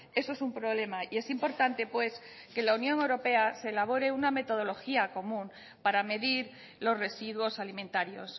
eso es un problema y es importante que en la unión europea se elabore una metodología común para medir los residuos alimentarios